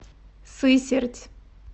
сысерть